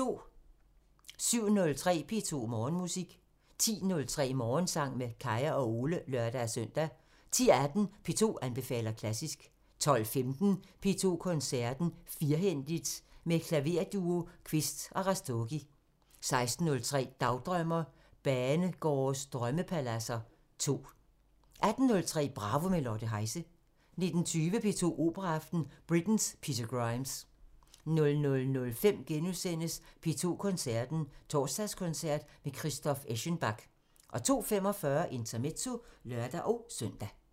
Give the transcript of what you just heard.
07:03: P2 Morgenmusik 10:03: Morgensang med Kaya og Ole (lør-søn) 10:18: P2 anbefaler klassisk 12:15: P2 Koncerten – Firhændigt! – med Klaverduo Quist & Rastogi 16:03: Dagdrømmer: Banegårdes drømmepaladser 2 18:03: Bravo – med Lotte Heise 19:20: P2 Operaaften – Britten: Peter Grimes 00:05: P2 Koncerten – Torsdagskoncert med Christoph Eschenbach * 02:45: Intermezzo (lør-søn)